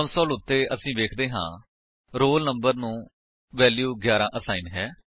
console ਉੱਤੇ ਅਸੀ ਵੇਖਦੇ ਹਾਂ ਕਿ ਰੋਲ ਨੰਬਰ ਨੂੰ ਵੈਲਿਊ 11 ਅਸਾਇਨ ਹੈ